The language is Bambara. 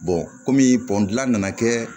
kɔmi dilan nana kɛ